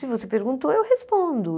Se você perguntou, eu respondo.